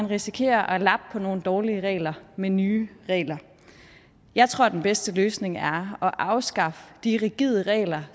risikerer at lappe på nogle dårlige regler med nye regler jeg tror at den bedste løsning er at afskaffe de rigide regler